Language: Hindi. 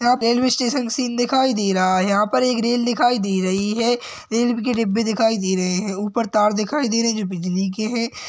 रेल्वे स्टेशन सीन दिखाई दे रहा है यहाँ पर एक रेल दिखाई दे रही है रेल्बे के डब्बे दिखाई दे रहे है ऊपर तार दिखाई दे रहे है जो की बिजली के है।